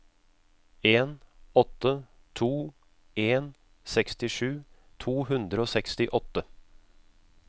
en åtte to en sekstisju to hundre og sekstiåtte